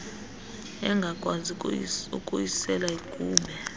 engakwazi ukuyisela yigube